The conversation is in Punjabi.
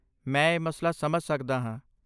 ਮੈਂ ਇਹ ਮਸਲਾ ਸਮਝ ਸਕਦਾ ਹਾਂ।